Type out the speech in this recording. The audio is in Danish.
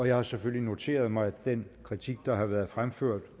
jeg har selvfølgelig noteret mig den kritik der har været fremført